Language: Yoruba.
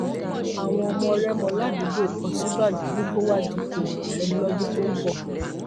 àwọn ọmọ rẹmọ ládùúgbò òsínbàjò ní kó wáá dúpọ ààrẹ lọdún tó ń bọ